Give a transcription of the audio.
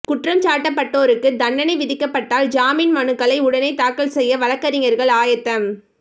குற்றம்சாட்டப்பட்டோருக்கு தண்டனை விதிக்கப்பட்டால் ஜாமீன் மனுக்களை உடனே தாக்கல் செய்ய வழக்கறிஞர்கள் ஆயத்தம்